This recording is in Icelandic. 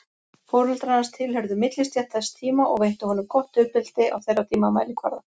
Foreldrar hans tilheyrðu millistétt þess tíma og veittu honum gott uppeldi á þeirra tíma mælikvarða.